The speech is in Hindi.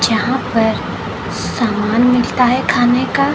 जहां पर सामान मिलता है खाने का।